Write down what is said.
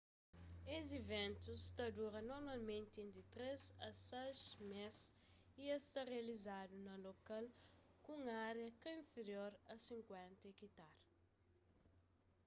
es iventus ta dura normalmenti entri três a sais mês y es ta rializadu na lokal ku un ária ka inferior a 50 ekitar